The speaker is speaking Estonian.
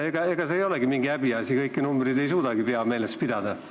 Ega see ei ole mingi häbiasi – kõiki numbreid ei suudagi pea meeles pidada.